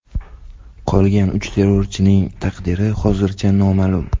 Qolgan uch terrorchining taqdiri hozircha noma’lum.